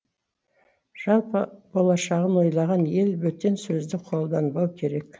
жалпы болашағын ойлаған ел бөтен сөзді қолданбау керек